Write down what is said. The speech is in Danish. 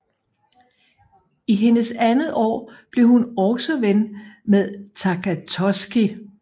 I hendes andet år bliver hun også ven med Takatoshi